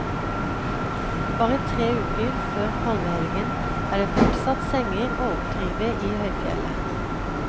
Bare tre uker før palmehelgen er det fortsatt senger å oppdrive i høyfjellet.